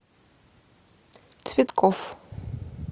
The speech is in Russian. цветкоф